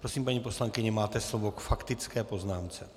Prosím, paní poslankyně, máte slovo k faktické poznámce.